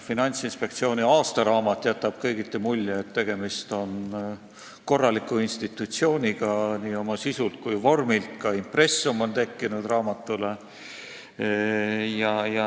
Finantsinspektsiooni aastaraamat jätab kõigiti mulje, et tegemist on korraliku institutsiooniga, nii oma sisult kui ka vormilt, raamatule on tekkinud ka impressum.